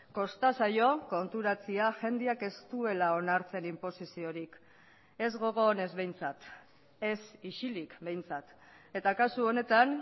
kosta zaio konturatzea jendeak ez duela onartzen inposiziorik ez gogo onez behintzat ez isilik behintzat eta kasu honetan